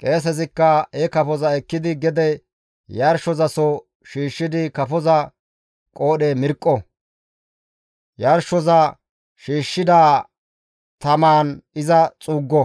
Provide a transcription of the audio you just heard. Qeesezikka he kafoza ekkidi gede yarshozaso shiishshidi kafoza qoodhe mirqqo; yarshoza shiishshida tamaan iza xuuggo;